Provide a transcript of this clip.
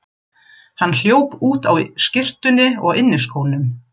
Hann hljóp út á skyrtunni og inniskónum.